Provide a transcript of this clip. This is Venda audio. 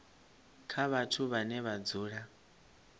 kha vhathu vhane vha dzula